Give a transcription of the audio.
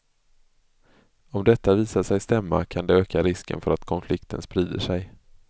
Om detta visar sig stämma, kan det öka risken för att konflikten sprider sig.